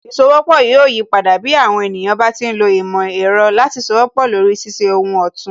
Ìsowọ́pọ̀ yóò yipadà, bí àwọn ènìyàn bá ti ń lo ìmò ẹ̀rọ láti sowọ́pọ̀ lori ṣíṣe ohun òtún